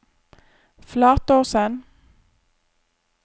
Flatåsen